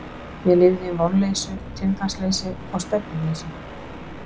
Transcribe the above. Ég lifði í vonleysi, tilgangsleysi og stefnuleysi.